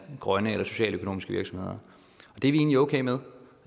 grønne eller socialøkonomiske virksomheder og det egentlig okay med